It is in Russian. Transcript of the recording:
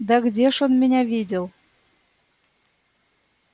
да где ж он меня видел